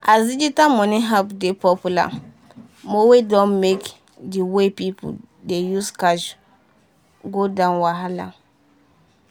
as digital money app dey popular mowe don make the way pipu dey use cash go down wahala.